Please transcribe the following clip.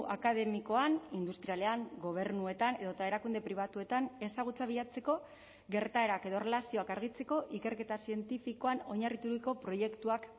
akademikoan industrialean gobernuetan edota erakunde pribatuetan ezagutza bilatzeko gertaerak edo erlazioak argitzeko ikerketa zientifikoan oinarrituriko proiektuak